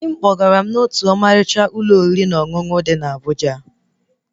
Dị m kpọgara m otú ọmalịcha Ụlọ oriri na ọṅụṅụ dị na Abụja